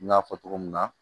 N y'a fɔ cogo min na